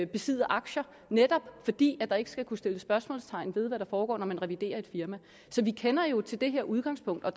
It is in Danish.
besidde aktier netop fordi der ikke skal kunne sættes spørgsmålstegn ved hvad der foregår når man reviderer et firma så vi kender jo til det her udgangspunkt og